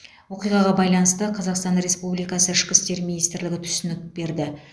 оқиғаға байланысты қазақстан республикасы ішкі істер министрлігі түсінік берді